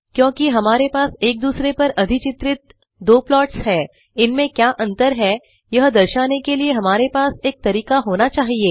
क्योंकि हमारे पास एक दूसरे पर अधिचित्रित दो प्लॉट्स हैं इनमें क्या अंतर है यह दर्शाने के लिए हमारे पास एक तरीका होना चाहिए